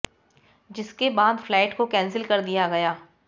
जिसके बाद फ्लाइट को कैंसिल कर दिया गया